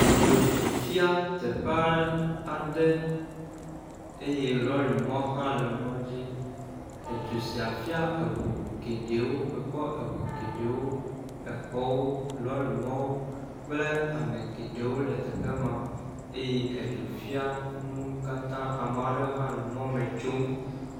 Edzo fia teƒe aɖe eye lɔri mɔ hã le mɔ dzi, edzo sia fia eŋu geɖe mekpɔ eŋu geɖe, exɔwo, lɔri mɔwo, kple ame geɖewo le teƒe ma eye edzo fia nuwo katã, eye ame aɖe hã le mɔ me tsom